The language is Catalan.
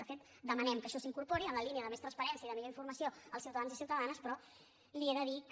de fet demanem que això s’incorpori en la línia de més transparència i de millor informació als ciutadans i ciutadanes però li he de dir que